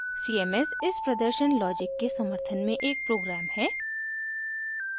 cms इस प्रदर्शन logic के समर्थन में एक program है